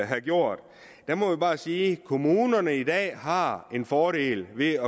have gjort der må vi bare sige at kommunerne i dag har en fordel ved